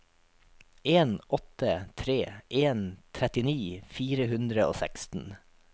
en åtte tre en trettini fire hundre og seksten